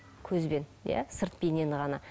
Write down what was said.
көзбен иә сырт бейнені ғана